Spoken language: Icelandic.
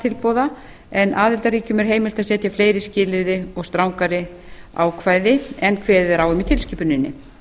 tilboða en aðildarríkjum er heimilt að setja fleiri skilyrði og strangari ákvæði en kveðið er á um í tilskipuninni